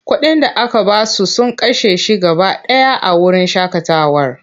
Kuɗin da aka ba su sun kashe shi gaba ɗaya a wurin shaƙatawar.